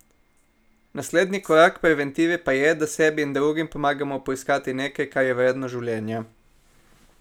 Naslednji korak preventive pa je, da sebi in drugim pomagamo poiskati nekaj, kar je vredno življenja.